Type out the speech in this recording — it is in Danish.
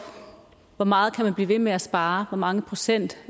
hvor meget man kan blive ved med at spare hvor mange procent